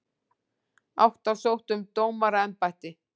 Átta sóttu um dómaraembætti